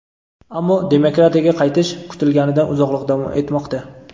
ammo "demokratiyaga qaytish" kutilganidan uzoqroq davom etmoqda.